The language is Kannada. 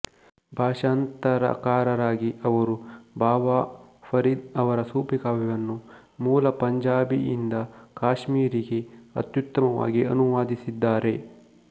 ಭಾಷಾಂತರಕಾರರಾಗಿ ಅವರು ಬಾಬಾ ಫರೀದ್ ಅವರ ಸೂಫಿ ಕಾವ್ಯವನ್ನು ಮೂಲ ಪಂಜಾಬಿಯಿಂದ ಕಾಶ್ಮೀರಿಗೆ ಅತ್ಯುತ್ತಮವಾಗಿ ಅನುವಾದಿಸಿದ್ದಾರೆ